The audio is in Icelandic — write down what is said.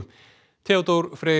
Theodór Freyr